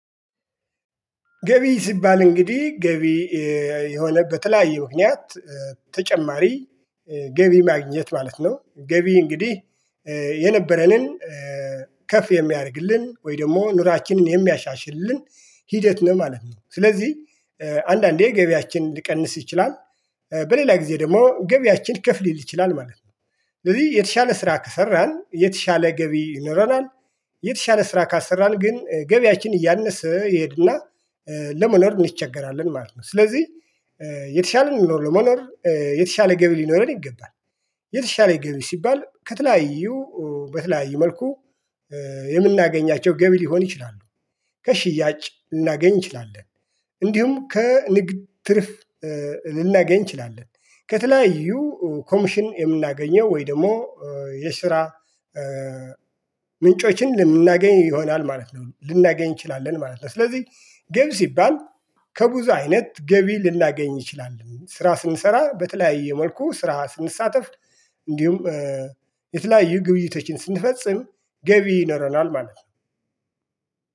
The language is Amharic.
ገቢ ሲባል እንግዲህ ገቢ የሆነ በተለያዩ ምክንያት ተጨማሪ ገቢ ማግኘት ማለት ነው ገቢ እንግዲህ የነበረንን ከፍ የሚያደርግልን ወይ ደግሞ ኑራችንን የሚያሻሽልን ሂደት ነው ማለት ነው። ስለዚህ አንዳንዴ ገበያችን ሊቀንስ ይችላል። በሌላ ጊዜ ደግሞ ገቢያችን ከፍ ልል ይችላል ማለት ነው። ስለዚህ የተሻለ ስራ ከሰራን የተሻለ ገቢ ይኖረናል። የተሻለ ስራ ካልሰራን ግን ገቢያችን እያነሰ ይሄድና ለመኖር እንቸገራለን ማለት ነው። ስለዚህ የተሻለ ኑሮ ለመኖር የተሻለ ገቢ ሊኖረን ይገባል። የተሻለ ገቢ ሲባል ከተለያዩ በተለያዩ መልኩ የምናገኛቸው ገቢ ሊሆን ይችላሉ። ከሽያጭ ልናገኝ እንችላለን። እንዲሁም ከንግድ ትርፍ ልናገኝ እንችላለን። ከተለያዩ ኮሚሽን የምናገኘው ወይ ደግሞ የስራ ምንጮችን ልናገኝ ይሆናል ማለት ነው ልናገኝ እንችላለን ማለት ነው። ስለዚህ ገብ ሲባል ከብዙ አይነት ገቢ ልናገኝ እንችላል ስራ ስንሰራ በተለያየ መልኩ ስራ ስንሳተፍ እንዲሁም የተለያዩ ግብይቶችን ስንፈጽም ገቢ ይኖረናል ማለት ነው።